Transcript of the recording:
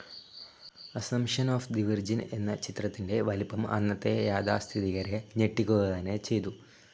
Assumption of the virgin എന്ന ചിത്രത്തിന്റെ വലിപ്പം അന്നത്തെ യാഥാസ്ഥിതികരെ ഞെട്ടിക്കുക തന്നെ ചെയ്തു.